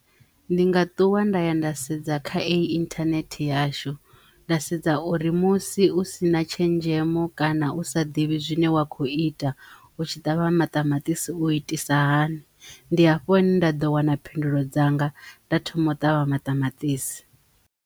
Ndi nga ṱuwa nda ya nda sedza kha ei internet yashu nda sedza uri musi u si na tshenzhemo kana u sa ḓivhi zwine wa kho ita u tshi ṱavha maṱamaṱisi u itisa hani ndi hafho hune nda ḓo wana phindulo dzanga nda thoma u ṱavha maṱamaṱisi.